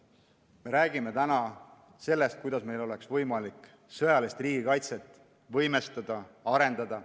Me räägime täna sellest, kuidas meil oleks võimalik sõjalist riigikaitset võimestada, arendada.